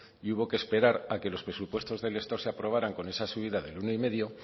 y hubo que esperar a que los presupuestos del estado se aprobaran con esa subida den uno coma cinco